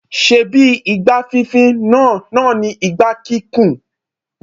Ṣebí igbá fínfín náà náà ni igbá kíkùn?